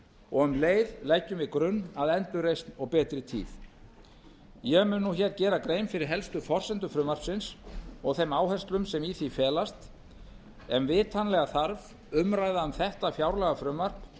og um leið leggjum við grunn að endurreisn og betri tíð ég mun nú hér gera grein fyrir helstu forsendum frumvarpsins og þeim áherslum sem í því felast en vitanlega þarf umræða um þetta fjárlagafrumvarp